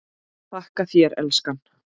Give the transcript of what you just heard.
Þakka þér elskan.